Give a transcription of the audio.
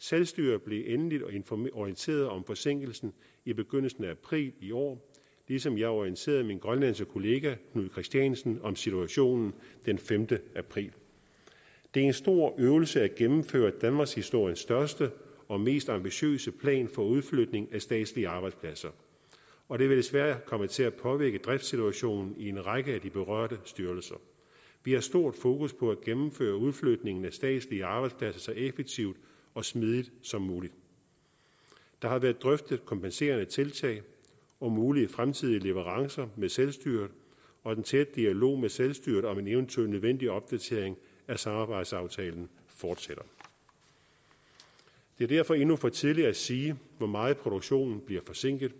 selvstyret blev endeligt orienteret om forsinkelsen i begyndelsen af april i år ligesom jeg orienterede min grønlandske kollega knud kristiansen om situationen den femte april det er en stor øvelse at gennemføre danmarkshistoriens største og mest ambitiøse plan for udflytning af statslige arbejdspladser og det vil desværre komme til at påvirke driftssituationen i en række af de berørte styrelser vi har stort fokus på at gennemføre udflytningen af statslige arbejdspladser så effektivt og smidigt som muligt der har været drøftet kompenserende tiltag og mulige fremtidige leverancer med selvstyret og den tætte dialog med selvstyret om en eventuel opdatering af samarbejdsaftalen fortsætter det er derfor endnu for tidligt at sige hvor meget produktionen bliver forsinket